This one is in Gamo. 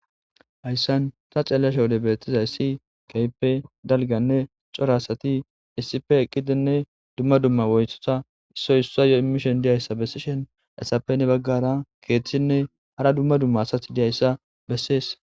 hayssan ta xelashe wode beettiza issi keype dalganne corasati issife eqqidinne dumma dumma woyosa issoy issa yo immishon diyayssa bessishen essappe ne baggara keeththinne hara dumma dumma asath diyayssa bessees